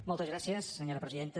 moltes gràcies senyora presidenta